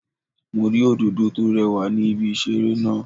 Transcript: Mo rí Òdòdó tó rewà ní ibi ìṣeré náà